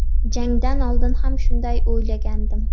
Jangdan oldin ham shunday o‘ylagandim.